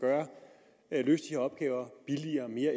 løse de her opgaver billigere og mere